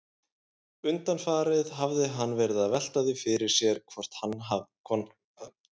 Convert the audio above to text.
Undanfarið hafði hann verið að velta því fyrir sér hvort hann yrði alltaf einn.